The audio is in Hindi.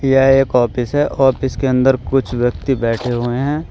यह एक ऑफिस है ऑफिस के अंदर कुछ व्यक्ति बैठे हुए हैं।